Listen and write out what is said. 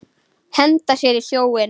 Henda sér í sjóinn?